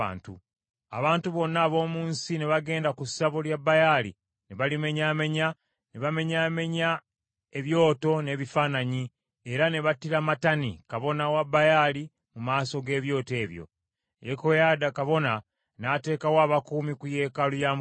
Abantu bonna ab’omu nsi ne bagenda ku ssabo lya Baali ne balimenyaamenya; ne bamenyaamenya ebyoto n’ebifaananyi, era ne battira Matani kabona wa Baali mu maaso g’ebyoto ebyo. Yekoyaada kabona n’ateekawo abakuumi ku yeekaalu ya Mukama .